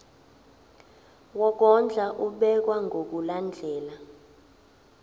wokondla ubekwa ngokulandlela